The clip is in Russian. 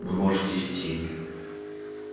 вы можете идти